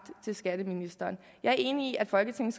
til skatteministeren jeg er enig i at folketinget